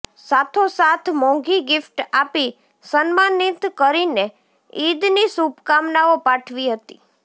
સાથોસાથ મોંઘી ગિફ્ટ આપી સન્માનિત કરીને ઇદની શુભકામનાઓ પાઠવી હતી